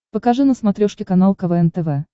покажи на смотрешке канал квн тв